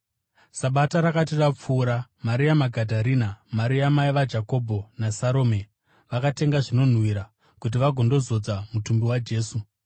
Sabata rakati rapfuura, Maria Magadharena, Maria mai vaJakobho, naSarome vakatenga zvinonhuhwira kuti vagondozodza mutumbi waJesu.